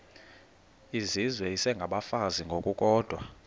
izizwe isengabafazi ngokukodwa